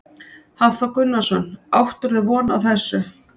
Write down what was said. Hafþór Gunnarsson: Áttirðu von á þessu?